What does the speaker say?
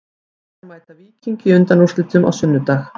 Blikar mæta Víkingi í undanúrslitum á sunnudag.